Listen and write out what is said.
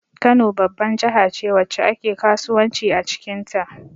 Kano babban jahace wacce ake kasuwanci acikin ta